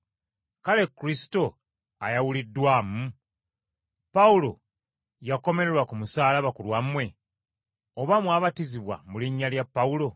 Kale Kristo ayawuliddwamu? Pawulo yakomererwa ku musaalaba ku lwammwe? Oba mwabatizibwa mu linnya lya Pawulo?